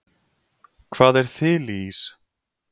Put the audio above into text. hvað er þiliís